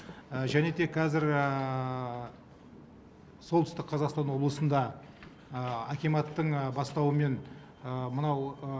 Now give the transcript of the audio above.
және де қазір солтүстік қазақстан облысында акиматтың бастауымен мынау